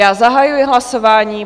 Já zahajuji hlasování.